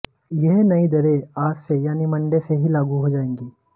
यह नई दरें आज से यानि मंडे से ही लागू हो जाएंगी